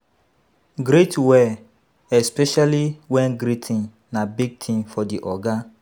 Greet well especially when greeting na big thing for di oga